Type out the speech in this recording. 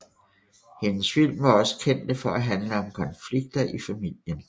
Hende film var også kendte for at handle om konflikter i familien